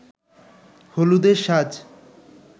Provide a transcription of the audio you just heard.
হলুদের সাজ